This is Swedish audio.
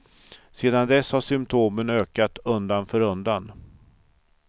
Sedan dess har symptomen ökat undan för undan.